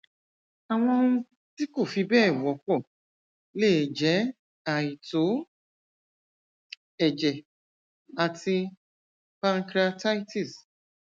àwọn ohun tí kò fi bẹẹ wọpọ lè jẹ àìtó ẹjẹ àti pancreatitis